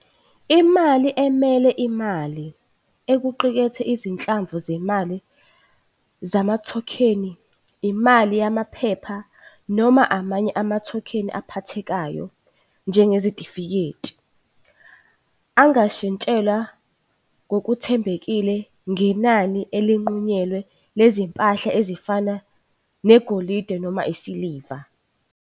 Imali emele imali equkethe izinhlamvu zemali zamathokheni, imali yamaphepha noma amanye amathokheni aphathekayo njengezitifiketi, angashintshelwa ngokuthembekile ngenani elinqunyiwe lezimpahla ezifana negolide noma isiliva.